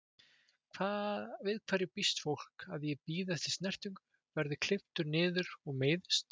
Við hverju býst fólk, að ég bíði eftir snertingu, verð klipptur niður og meiðist?